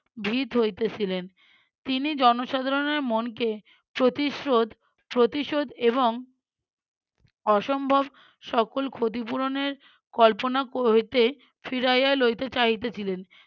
ভীত্ হইতেছিলেন। তিনি জনসাধারণের মনকে প্রতিস্রোত প্রতিশোধ এবং অসম্ভব সকল ক্ষতিপূরণের কল্পনা ক~ হইতে ফিরাইয়া লইতে চাইতেছিলেন।